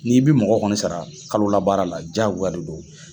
N'i bi mɔgɔ kɔni sara kalola baara la jaagoya de do.